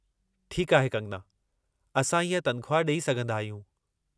ठीकु आहे कंगना, असां इहा तनख़्वाह ॾेई सघिन्दा आहियूं।